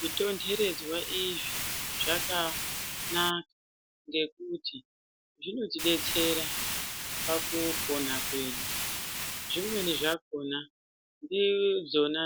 Zito nderedzwa izvi zvakanaka ngekuti zvino tidetsera pakupona kwedu. Zvimweni zvakona ndidzona